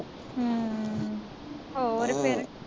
ਹਮ ਹੋਰ ਫੇਰ